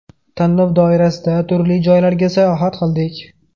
Tanlov doirasida turli joylarga sayohat qildik.